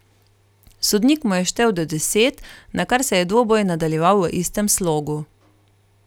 Sodnik mu je štel do deset, nakar se je dvoboj nadaljeval v istem slogu.